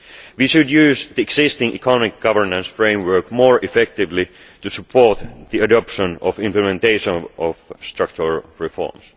We should use the existing economic governance framework more effectively to support the adoption of the implementation of structural reforms.